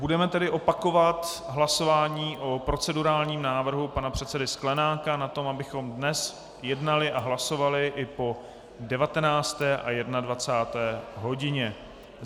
Budeme tedy opakovat hlasování o procedurálním návrhu pana předsedy Sklenáka o tom, abychom dnes jednali a hlasovali i po 19. a 21. hodině.